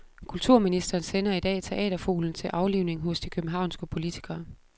Kulturministeren sender i dag teaterfuglen til aflivning hos de københavnske politikere.